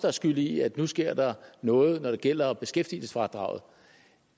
er skyld i at nu sker der noget når det gælder beskæftigelsesfradraget